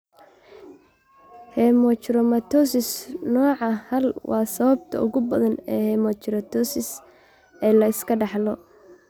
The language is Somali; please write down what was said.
Hemochromatosis nooca haal waa sababta ugu badan ee hemochromatosis ee la iska dhaxlo.